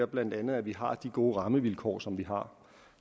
blandt andet er at vi har de gode rammevilkår som vi har